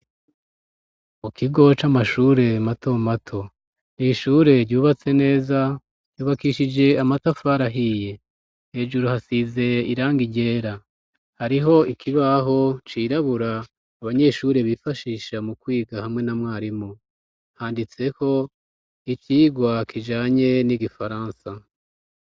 Mu kigo c'amashure mato mato ,n'ishure ryubatse neza ,ryubakishije amatafari ahiye ,hejuru hasize iranga iryera, hariho ikibaho c'irabura abanyeshure bifashisha mu kwiga hamwe na mwarimu ,handitseko icigwa kijanye n'igifaransa.